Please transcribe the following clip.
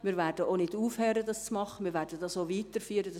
Wir werden auch nicht damit aufhören, wir werden dies weiterführen.